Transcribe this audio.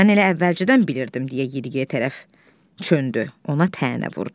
Mən elə əvvəlcədən bilirdim, deyə Yediyey tərəf döndü, ona təənnə vurdu.